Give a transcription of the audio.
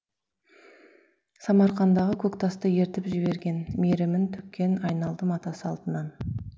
самарқандағы көк тасты ерітіп жіберген мейрімін төккен айналдым ата салтынан